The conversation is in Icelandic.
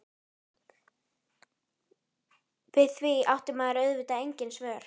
Við því átti maður auðvitað engin svör.